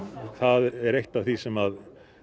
það er eitt af því sem